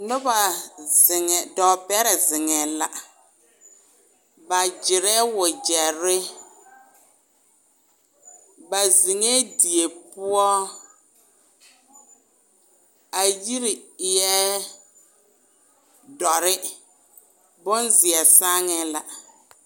Noba zeŋ, dɔɔ bɛrɛ zeŋɛɛ la, ba gyerɛɛ wegyɛre, ba zeŋɛɛ die poɔ, a yiri eɛ dɔre, bonzeɛ saaŋɛɛ la.